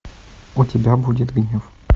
у тебя будет гнев